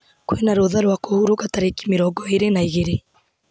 kwĩna rũtha rwa kũhurũka tarĩki mĩrongo na igĩrĩ